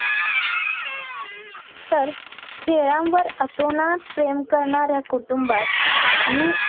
तर खेळांवर अतोनास प्रेम करणाऱ्या कुटुंबात मी